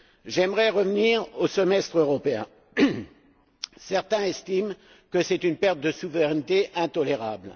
J'aimerais revenir au semestre européen certains estiment que c'est une perte de souveraineté intolérable.